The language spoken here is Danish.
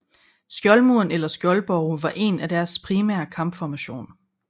Skjoldmuren eller skjoldborge var en af deres primære kampformation